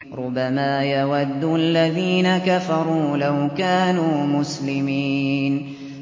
رُّبَمَا يَوَدُّ الَّذِينَ كَفَرُوا لَوْ كَانُوا مُسْلِمِينَ